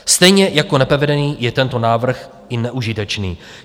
Stejně jako nepovedený je tento návrh i neužitečný.